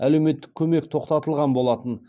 әлеуметтік көмек тоқтатылған болатын